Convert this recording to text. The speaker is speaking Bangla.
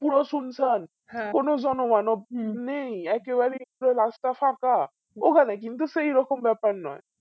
পুর সুন্সান কোন জনমানব নেই একেবারে পুরো রাস্তা ফাঁকা ওখানে কিন্তু সেই রকম ব্যাপার নয়